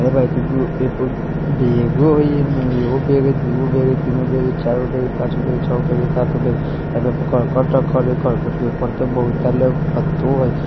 बेग हई एमे एगो बेग दोगो बेग तीनगो बेग चारगो बेग पांचगो बेग छेगो बेग सातगो बेग हई इसके ऊपर करकट रखल हई और एके पर बहुत पत्ता हई।